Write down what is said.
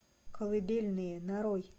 колыбельные нарой